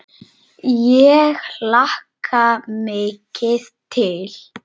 Ég hlakka mikið til.